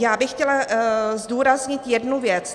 Já bych chtěla zdůraznit jednu věc.